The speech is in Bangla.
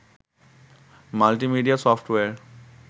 multimedia software